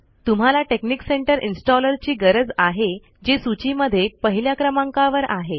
तुम्हाला technic centre installer ची गरज आहे जे सूची मध्ये पहिल्या क्रमांकावर आहे